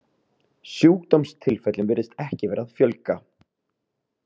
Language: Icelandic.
Sjúkdómstilfellum virðist ekki vera að fjölga.